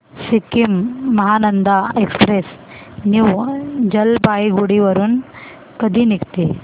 Sikkim Mahananda express new Jalpaiguri वरून कधी निघते